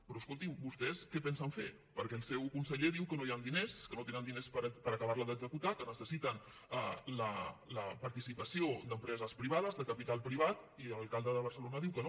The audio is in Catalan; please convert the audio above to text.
però escoltin vostès què pensen fer perquè el seu conseller diu que no hi han diners que no tenen diners per acabar la d’executar que necessiten la participació d’empreses privades de capital privat i l’alcalde de barcelona diu que no